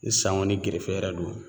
Ni san ŋɔni gerefe yɛrɛ don